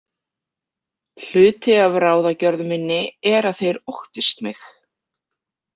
Hluti af ráðagjörð minni er að þeir óttist mig.